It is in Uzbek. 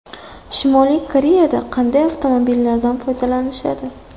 Shimoliy Koreyada qanday avtomobillardan foydalanishadi?